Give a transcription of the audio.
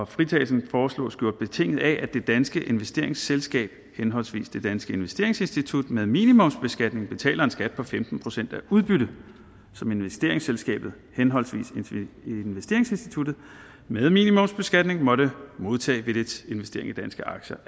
fritagelsen foreslås gjort betinget af at det danske investeringsselskab henholdsvis det danske investeringsinstitut med minimumsbeskatning betaler en skat på femten procent af udbytte som investeringsselskabet henholdsvis investeringsinstituttet med minimumsbeskatning måtte modtage ved dets investering i danske aktier